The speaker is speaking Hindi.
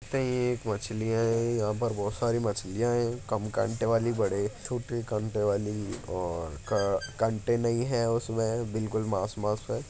एक मछली है यहां पर बहुत सारी मछलियां है काम कांटे वाली बड़े छोटे कांटे वाली और कं कांटे नहीं है उसमे बिलकुल मांस मांस है।